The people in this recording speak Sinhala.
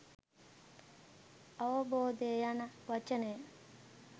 අවබෝධය යන වචනය